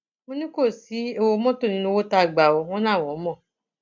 mo ní kò sí owó mọtò nínú owó tá a gbà ọ wọn ní àwọn mọ